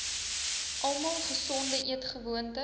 almal gesonde eetgewoontes